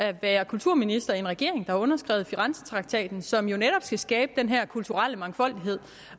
at være kulturminister i en regering der har underskrevet firenzetraktaten som jo netop skal skabe den her kulturelle mangfoldighed